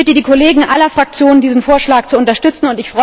Ich bitte die Kollegen aller Fraktionen, diesen Vorschlag zu unterstützen.